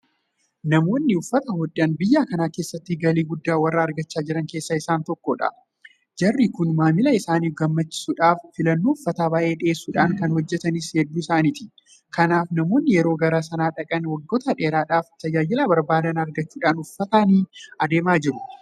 Namoonni uffata hodhan biyya kana keessatti galii guddaa warra argachaa jiran keessaa isaan tokkodha. Jarri kun maamila isaanii gammachiisuudhaaf filannoo uffataa baay'ee dhiyeessuudhaan kan hojjetanis hedduu isaaniiti. Kanaaf namoonni yeroo gara sana dhaqan waggoota dheeraadhaaf tajaajila barbaadan argachuudhaan uffatanii adeemaa jiru.